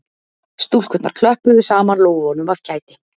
Stúlkurnar klöppuðu saman lófunum af kæti